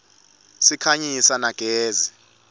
sikhanyisa na gezi